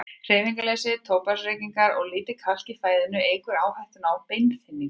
Hreyfingarleysi, tóbaksreykingar og lítið kalk í fæðunni eykur hættuna á beinþynningu.